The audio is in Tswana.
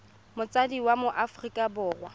motsadi wa mo aforika borwa